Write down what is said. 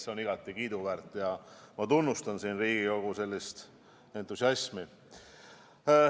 See on igati kiiduväärt ja ma tunnustan Riigikogu sellist entusiasmi.